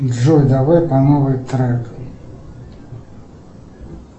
джой давай по новой трек